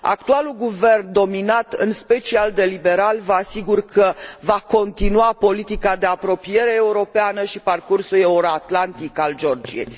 Actualul guvern, dominat în special de liberali, vă asigur că va continua politica de apropiere europeană și parcursul euroatlantic al Georgiei.